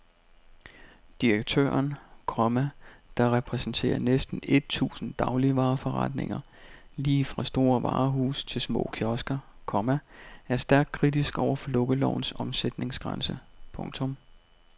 Direktøren, komma der repræsenterer næsten et tusind dagligvareforretninger lige fra store varehuse til små kiosker, komma er stærkt kritisk over for lukkelovens omsætningsgrænse. punktum